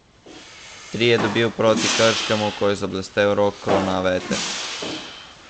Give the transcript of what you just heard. Tri je dobil proti Krškemu, ko je zablestel Rok Kronaveter.